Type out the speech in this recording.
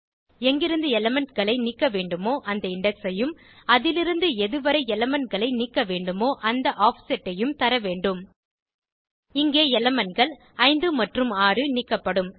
எங்கிருந்து எலிமெண்ட் களை நீக்க வேண்டுமோ அந்த இண்டெக்ஸ் ஐயும் அதிலிருந்து எதுவரை elementகளை நீக்க வேண்டுமோ அந்த ஆஃப்செட் ஐயும் தரவேண்டும் இங்கே elementகள் 5 மற்றும் 6 நீக்கப்படும்